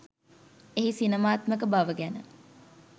එහි සිනමාත්මක බව ගැන